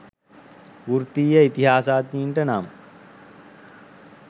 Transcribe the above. වෘත්තීය ඉතිහාසඥයින්ට නම්